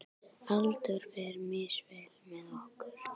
Aldur fer misvel með okkur.